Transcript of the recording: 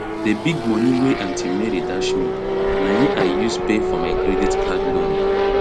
d big moni wey aunty mary dash me na im i use pay for my credit card loan